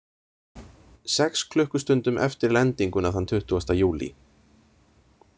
Sex klukkustundum eftir lendinguna þann tuttugasta júlí.